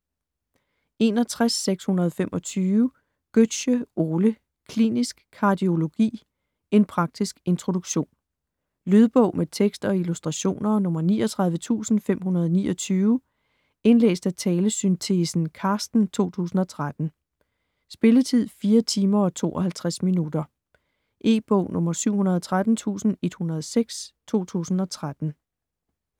61.625 Gøtzsche, Ole: Klinisk kardiologi: en praktisk introduktion Lydbog med tekst og illustrationer 39529 Indlæst af talesyntesen Carsten, 2013. Spilletid: 4 timer, 52 minutter. E-bog 713106 2013.